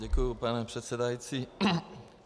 Děkuji, pane předsedající.